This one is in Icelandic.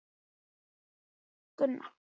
Jónanna, hvað er á innkaupalistanum mínum?